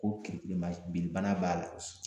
Ko kirikirima binnibana b'a la